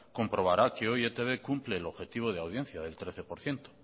comprobará que hoy e i te be cumple el objetivo de audiencia del trece por ciento